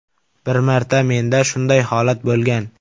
Bir marta menda shunday holat bo‘lgan.